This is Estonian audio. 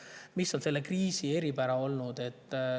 Aga mis on selle kriisi eripära olnud?